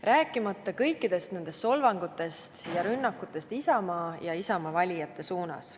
Rääkimata kõikidest solvangutest ja rünnakutest Isamaa ja Isamaa valijate suunas.